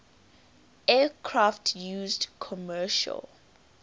aircraft used commercial